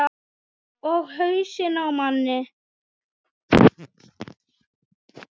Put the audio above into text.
Og hausinn á manni.